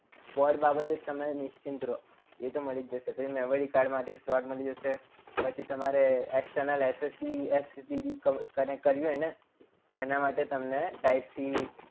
port બાબતે તો તમે નિશ્ચિત રહો એ તો મળી જ જશે. પછી memory card માટે slot મળી જશે. પછી તમારે external SSD_HD connect કરવી હોય ને તો એના માટે તમને type c